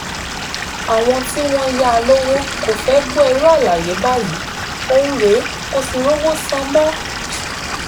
àwọn tí wọ́n yá a lọ́wọ́ kò fẹ́ẹ́ gbọ́ irú àlàyé báyìí òun rèé kò sì rówó sàn mọ́